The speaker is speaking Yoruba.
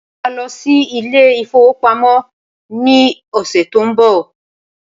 Mo máa lọ sí ilé ìfowópamọ́ ní ọ̀sẹ̀ tó ń bọ̀